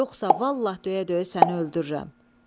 Yoxsa vallah döyə-döyə səni öldürürəm.